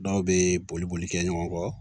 Dɔw bɛ boli boli boli kɛ ɲɔgɔn kɔ